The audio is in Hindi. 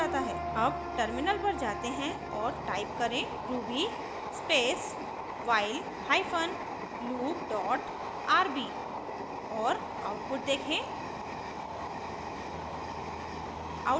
अब टर्मिनल पर जाते हैं और टाइप करें ruby space while hyphen loop dot rb और आउटपुट देखें